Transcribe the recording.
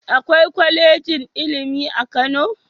Akwai kwalejin ilimi a Kano?